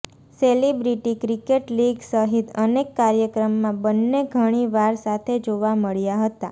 celebrity cricket league સહિત અનેક કાર્યક્રમમાં બંને ઘણી વાર સાથે જોવા મળ્યા હતા